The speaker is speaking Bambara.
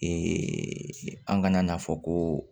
an kana n'a fɔ ko